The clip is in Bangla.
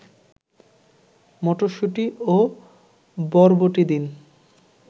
মটরশুঁটি ও বরবটি দিন